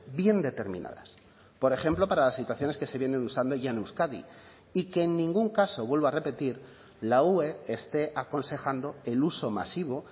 bien determinadas por ejemplo para las situaciones que se vienen usando ya en euskadi y que en ningún caso vuelvo a repetir la ue esté aconsejando el uso masivo